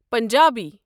Punjabi